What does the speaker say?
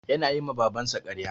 Yana yi ma Babansa karya.